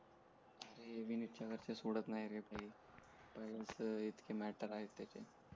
अरे विनीत च्या घरचे सोडत नायरे पहिलेच इतके मॅटर आहेत त्याचे